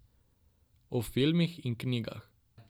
O filmih in knjigah.